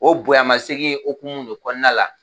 O bonya masegin hukumu de kɔnɔna la.